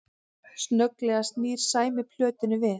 Snögglega snýr Sæmi plötunni við